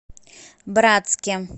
братске